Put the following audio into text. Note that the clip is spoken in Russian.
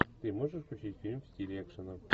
ты можешь включить фильм в стиле экшена